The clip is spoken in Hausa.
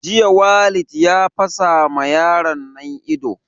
Jiya Walid ya fasa ma yaron nan ido